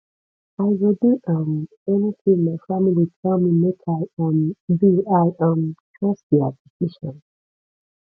i go do um anything my family tell me make i um do i um trust dia decision